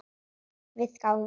Við gáfum út bók.